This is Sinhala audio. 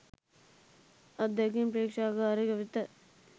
අත්දැකීම් ප්‍රේක්ෂකාගාරය වෙත